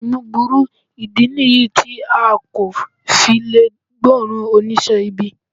Imú burú, ìdí nìyí tí a kò fi lè gbóòórùn oníṣẹ́ ibi